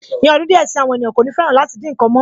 Ní ọdún díẹ̀ si, àwọn ènìyàn kò ní fẹ́ràn láti dín nǹkan mọ́